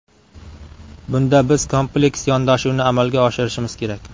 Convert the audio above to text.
Bunda biz kompleks yondashuvni amalga oshirishimiz kerak.